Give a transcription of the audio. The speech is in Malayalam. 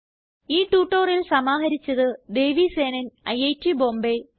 ഈ ട്യൂട്ടോറിയൽ സമാഹാരിച്ചത് ദേവി സേനൻ ഐറ്റ് ബോംബേ നന്ദി